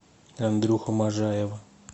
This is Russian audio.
андрюху можаева